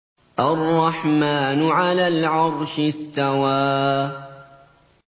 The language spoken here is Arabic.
الرَّحْمَٰنُ عَلَى الْعَرْشِ اسْتَوَىٰ